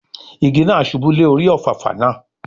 Igi náà ṣubú lé orí Òfàfà náà